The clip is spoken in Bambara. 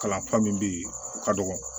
Kalanfa min bɛ yen o ka dɔgɔ